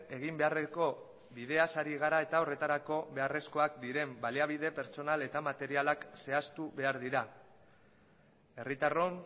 egin beharreko bideaz ari gara eta horretarako beharrezkoak diren baliabide materialak eta pertsonalak zehaztu behar dira herritarrok